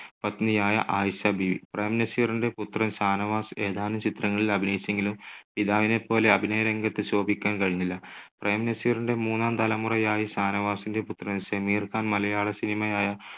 പത്നിയായ ആയിഷാ ബീവി. പ്രേം നസീറിന്റെ പുത്രൻ ഷാനവാസ് ഏതാനും ചിത്രങ്ങളിൽ അഭിനയിച്ചെങ്കിലും പിതാവിനെപ്പോലെ അഭിനയരംഗത്ത് ശോഭിക്കാൻ കഴിഞ്ഞില്ല. പ്രേം നസീറിന്റെ മൂന്നാം തലമുറയായി ഷാനവാസിന്റെ പുത്രൻ ഷമീർ ഖാൻ മലയാള cinema യായ